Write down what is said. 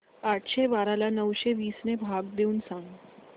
आठशे बारा ला नऊशे वीस ने भाग देऊन सांग